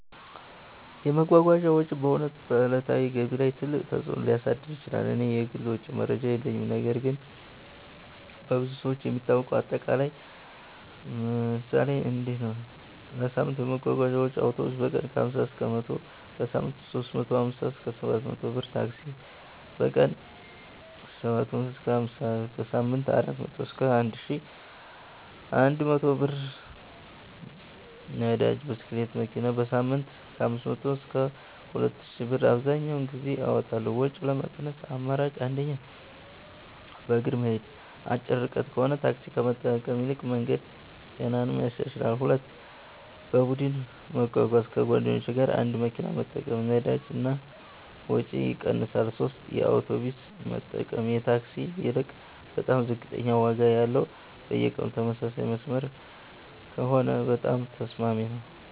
የመጓጓዣ ወጪ በእውነት በዕለታዊ ገቢ ላይ ትልቅ ተፅእኖ ሊያሳድር ይችላል። እኔ የግል ወጪ መረጃ የለኝም ነገር ግን በብዙ ሰዎች የሚታወቀው አጠቃላይ ምሳሌ እንዲህ ነው፦ የሳምንት የመጓጓዣ ወጪዬ አውቶቡስ: በቀን 50–100 ብር → በሳምንት 350–700 ብር ታክሲ: በቀን 70–150 ብር → በሳምንት 400–1100+ ብር ነዳጅ (ብስክሌት/መኪና): በሳምንት 500–2000+ ብር አብዘሀኛውን ጊዜ አወጣለሁ ወጪ ለመቀነስ አማራጮች 1. በእግር መሄድ አጭር ርቀት ከሆነ ታክሲ ከመጠቀም ይልቅ መሄድ ጤናንም ያሻሽላል 2. በቡድን መጓጓዣ ከጓደኞች ጋር አንድ መኪና መጠቀም ነዳጅ እና ወጪ ይቀንሳል 3 የአውቶቡስ መጠቀም ከታክሲ ይልቅ በጣም ዝቅተኛ ዋጋ አለው በየቀኑ ተመሳሳይ መስመር ከሆነ በጣም ተስማሚ ነው